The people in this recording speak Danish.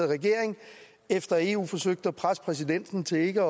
regering efter at eu forsøgte at presse præsidenten til ikke